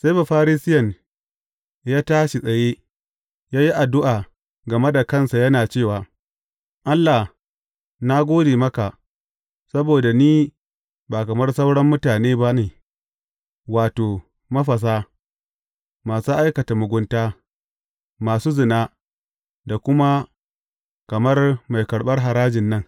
Sai Bafarisiyen ya tashi tsaye, ya yi addu’a game da kansa yana cewa, Allah, na gode maka, saboda ni ba kamar sauran mutane ba ne, wato, mafasa, masu aikata mugunta, masu zina, ko kuma kamar mai karɓar harajin nan.